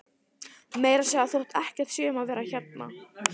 Meira að segja þótt ekkert sé um að vera hérna.